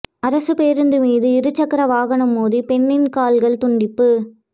அரசுப் பேருந்து மீது இருசக்கர வாகனம் மோதி பெண்ணின் கால்கள் துண்டிப்பு